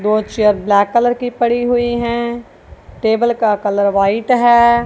बहुत chair black colour की पड़ी हुईं हैं टेबल का कलर व्हाइट हैं।